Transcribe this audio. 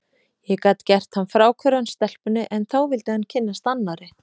Ég gat gert hann fráhverfan stelpunni, en þá vildi hann kynnast annarri.